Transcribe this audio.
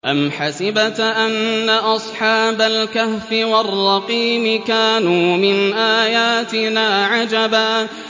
أَمْ حَسِبْتَ أَنَّ أَصْحَابَ الْكَهْفِ وَالرَّقِيمِ كَانُوا مِنْ آيَاتِنَا عَجَبًا